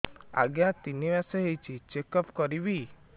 ଆଜ୍ଞା ତିନି ମାସ ହେଇଛି ଚେକ ଅପ କରିବି